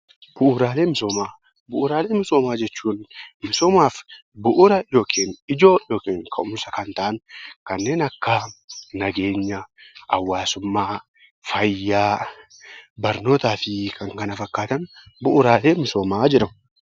Bu'uuraalee misoomaa. Bu'uuraalee misoomaa jechuun misoomaaf bu'uura yookin ijoo yookin ka'umsa kan ta'an kanneen akka nageenya, hawaasummaa, fayyaa, barnootaa fi kan kana fakkaatan bu'uuraalee misoomaaa jedhamu.